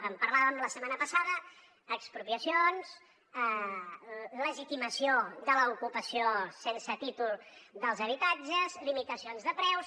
en parlàvem la setmana passada expropiacions legitimació de l’ocupació sense títol dels habitatges limitacions de preus